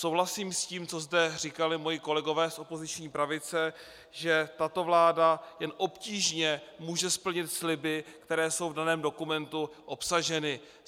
Souhlasím s tím, co zde říkali moji kolegové z opoziční pravice, že tato vláda jen obtížně může splnit sliby, které jsou v daném dokumentu obsaženy.